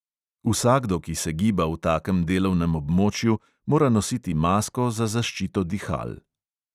Vsakdo, ki se giba v takem delovnem območju, mora nositi masko za zaščito dihal.